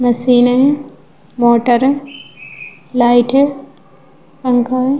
मशीनें motor light है पंखा है।